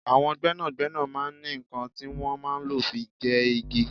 Àwọn gbẹ́nàgbẹ́nà máa ń ní nǹkan tí wọn máa ń lọ fi gé igi.